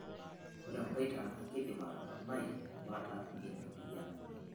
Ore emboita naa keidim atoponai bata ina moyian.